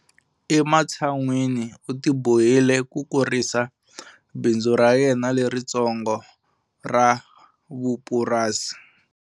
Ematshan'wini u tibohile ku kurisa bindzu ra yena leritsongo ra vupurasi.